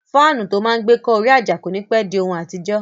Fáànù tó máa n gbé kọ́ orí àjà kò ní pẹ́ di ohun àtijọ́